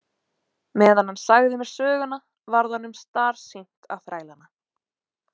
Meðan hann sagði mér söguna varð honum starsýnt á þrælana.